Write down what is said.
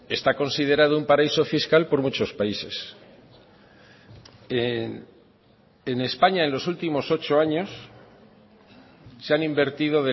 está considerado un paraíso fiscal por muchos países en españa en los últimos ocho años se han invertido